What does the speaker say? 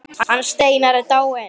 Hver er þessi litli skratti?